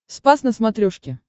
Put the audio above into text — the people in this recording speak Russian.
спас на смотрешке